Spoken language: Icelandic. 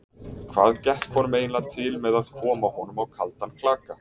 Hvað gekk honum eiginlega til með að koma honum á kaldan klaka?